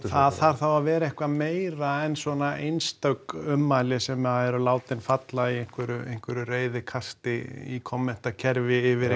það þarf þá að vera eitthvað meira en svona einstök ummæli sem að eru látin falla í einhverju einhverju reiðikasti í kommentakerfi yfir